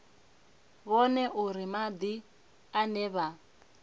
vhone uri madi ane vha